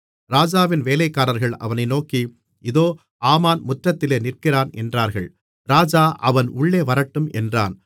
ராஜாவின் வேலைக்காரர்கள் அவனை நோக்கி இதோ ஆமான் முற்றத்திலே நிற்கிறான் என்றார்கள் ராஜா அவன் உள்ளே வரட்டும் என்றான்